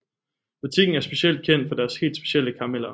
Butikken er specielt kendt for deres helt specielle karameller